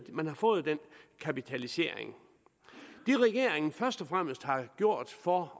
man har fået den kapitalisering det regeringen først og fremmest har gjort for